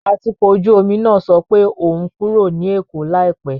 Atukọ̀ ojú omi náà sọ pé òun ń kúrò ní Èkó láìpẹ́.